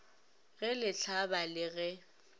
ge le hlaba le ge